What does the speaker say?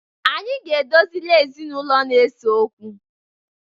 Anyị ga-edozili ezinaụlọ na-eso okwu.